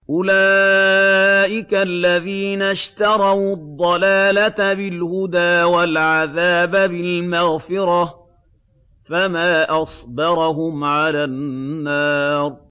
أُولَٰئِكَ الَّذِينَ اشْتَرَوُا الضَّلَالَةَ بِالْهُدَىٰ وَالْعَذَابَ بِالْمَغْفِرَةِ ۚ فَمَا أَصْبَرَهُمْ عَلَى النَّارِ